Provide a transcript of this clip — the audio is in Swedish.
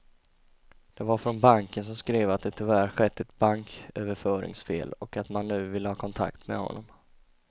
Det var från banken som skrev att det tyvärr skett ett banköverföringsfel och att man nu ville ha kontakt med honom.